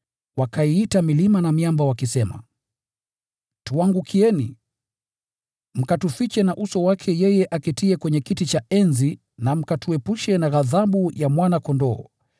Wakaiita milima na miamba wakisema, “Tuangukieni, mkatufiche na uso wake yeye aketiye kwenye kiti cha enzi, na mkatuepushe na ghadhabu ya Mwana-Kondoo!